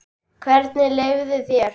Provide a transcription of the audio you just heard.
Hvernig leið þér?